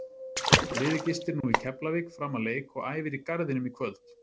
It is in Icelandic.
Liðið gistir nú í Keflavík fram að leik og æfir í Garðinum í kvöld.